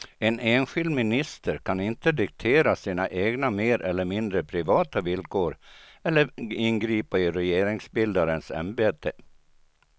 En enskild minister kan inte diktera sina egna mer eller mindre privata villkor eller ingripa i regeringsbildarens ämbete.